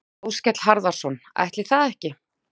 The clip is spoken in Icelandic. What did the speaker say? Áskell Harðarson: Ætli það ekki?